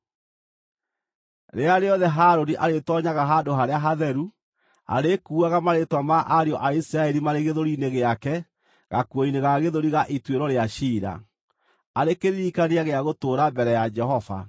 “Rĩrĩa rĩothe Harũni arĩĩtoonyaga Handũ-harĩa-Hatheru, arĩkuuaga marĩĩtwa ma ariũ a Isiraeli marĩ gĩthũri-inĩ gĩake gakuo-inĩ ga gĩthũri ga ituĩro rĩa ciira, arĩ kĩririkania gĩa gũtũũra mbere ya Jehova.